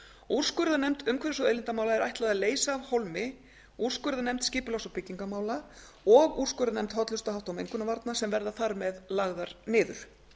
úrskurðarnefnd umhverfis og auðlindamála er ætlað að leysa af hólmi úrskurðarnefnd skipulags og byggingarmála og úrskurðarnefnd hollustuhátta og mengunarvarna sem verða þar með lagðar niður